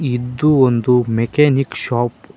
ಇದು ಒಂದು mechanic shop .